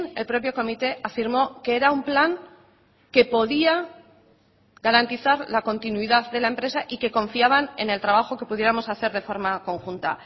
el propio comité afirmó que era un plan que podía garantizar la continuidad de la empresa y que confiaban en el trabajo que pudiéramos hacer de forma conjunta